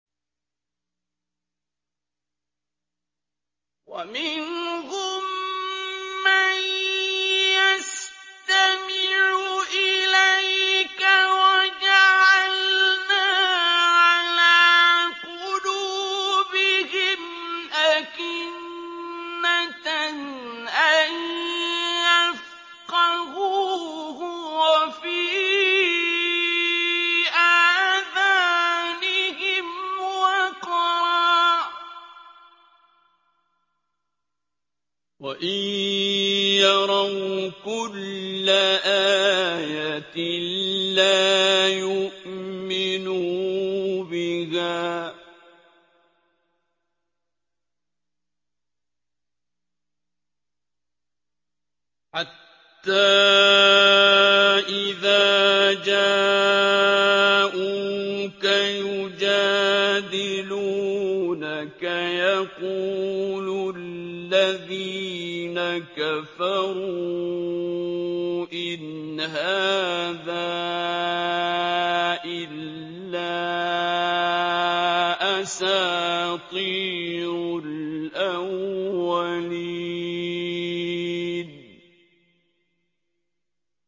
وَمِنْهُم مَّن يَسْتَمِعُ إِلَيْكَ ۖ وَجَعَلْنَا عَلَىٰ قُلُوبِهِمْ أَكِنَّةً أَن يَفْقَهُوهُ وَفِي آذَانِهِمْ وَقْرًا ۚ وَإِن يَرَوْا كُلَّ آيَةٍ لَّا يُؤْمِنُوا بِهَا ۚ حَتَّىٰ إِذَا جَاءُوكَ يُجَادِلُونَكَ يَقُولُ الَّذِينَ كَفَرُوا إِنْ هَٰذَا إِلَّا أَسَاطِيرُ الْأَوَّلِينَ